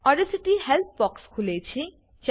Audacity help box ખુલે છે